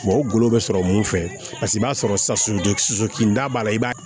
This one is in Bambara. o golo bɛ sɔrɔ mun fɛ paseke i b'a sɔrɔ sa kinda b'a la i b'a